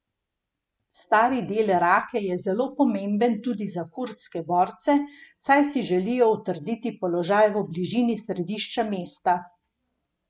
Stari del Rake je zelo pomemben tudi za kurdske borce, saj si želijo utrditi položaj v bližini središča mesta.